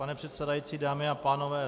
Pane předsedající, dámy a pánové.